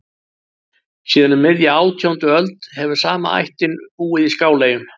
Síðan um miðja átjándu öld hefur sama ættin búið í Skáleyjum.